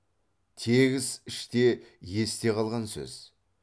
тегіс іште есте қалған сөз